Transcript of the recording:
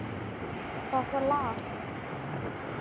Það lak.